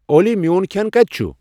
اولی میون کھٮ۪ن کَتہِ چھُ